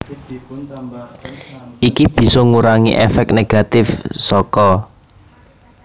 Iki bisa ngurangi èfék negatif saka